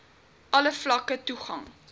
alle vlakke toegang